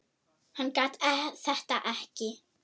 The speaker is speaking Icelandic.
Hann gat þetta ekki.